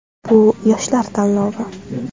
Bu yoshlar tanlovi.